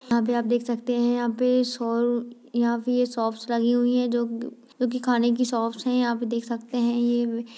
यहाँ पे आप देखते सकते है यहाँ पे शो यहाँ पे ये शॉप्स लगी हुई जो जो कि खाने कि शॉप्स है यहाँ पे देख सकते है ये --